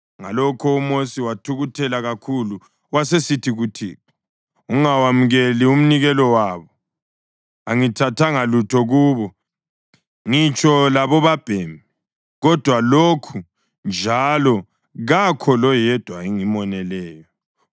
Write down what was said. Ngalokho uMosi wathukuthela kakhulu wasesithi kuThixo, “Ungawemukeli umnikelo wabo. Angithathanga lutho kubo ngitsho lobabhemi kodwa lokhu, njalo kakho loyedwa engimoneleyo.”